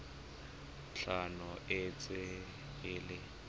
tlhano e ntse e le